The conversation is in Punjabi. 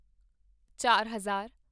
ਚਾਰ ਹਜ਼ਾਰ